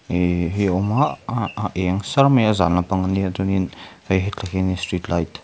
ehh hei awma ah a eng sar mai a zan lampang ania chuanin hei hetah hianin street light --